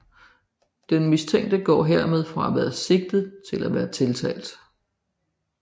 Den mistænkte går dermed fra at være sigtet til at være tiltalt